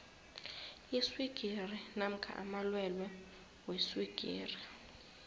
iswigiri namkha amalwelwe weswigiri